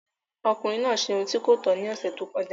Ọkùnrin náà ṣe ohun tí kò tọ́ ní ọ̀sẹ̀ tó kọjá.